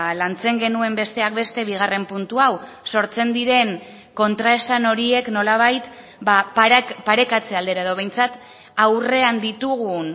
lantzen genuen besteak beste bigarren puntu hau sortzen diren kontraesan horiek nolabait parekatze aldera edo behintzat aurrean ditugun